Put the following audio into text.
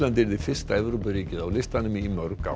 yrði fyrsta Evrópuríkið á listanum í mörg ár